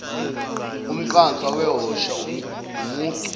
umqansa wahosha umucu